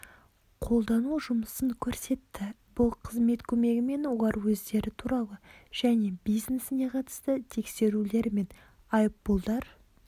қолдану жұмысын көрсетті бұл қызмет көмегімен олар өздері туралы және бизнесіне қатысты тексерулер мен айыппұлдар